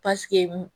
Pasike